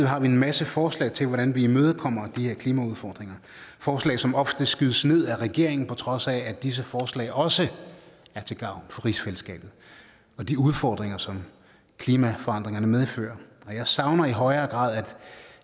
har vi en masse forslag til hvordan vil imødekommer de her klimaudfordringer forslag som ofte skydes ned af regeringen på trods af at disse forslag også er til gavn for rigsfællesskabet og de udfordringer som klimaforandringerne medfører jeg savner i højere grad